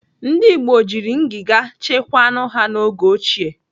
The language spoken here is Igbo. Ndị Igbo jiri ngiga chekwaa anụ ha n'oge ochie.